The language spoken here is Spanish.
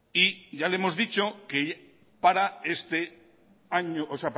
y ya le hemos dicho que para este año